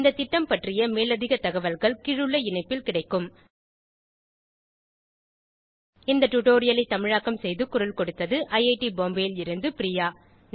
இந்த திட்டம் பற்றிய மேலதிக தகவல்கள் கீழுள்ள இணைப்பில் கிடைக்கும் இந்த டுடோரியலை தமிழாக்கம் செய்து குரல் கொடுத்தது ஐஐடி பாம்பேவில் இருந்து பிரியா